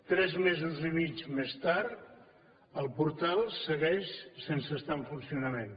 tres mesos i mig més tard el portal segueix sense estar en funcionament